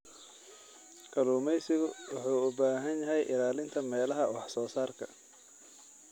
Kalluumeysigu wuxuu u baahan yahay ilaalinta meelaha wax soo saarka.